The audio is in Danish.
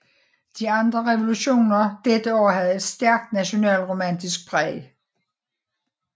De andre revolutioner dette år havde et stærkt nationalromantisk præg